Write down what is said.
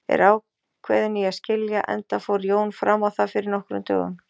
Er ákveðin í að skilja, enda fór Jón fram á það fyrir nokkrum dögum.